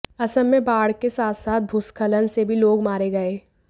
असम में बाढ़ के साथ साथ भूस्खलन से भी लोग मारे गये